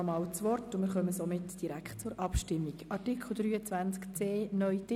Somit kommen wir direkt zur Abstimmung über Artikel 23c (neu) betreffend den neuen Titel.